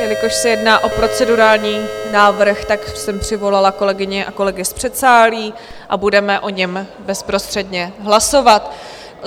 Jelikož se jedná o procedurální návrh, tak jsem přivolala kolegyně a kolegy z předsálí a budeme o něm bezprostředně hlasovat.